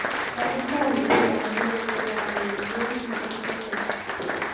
toretonigonon logoywek ab ureryet nebo kriket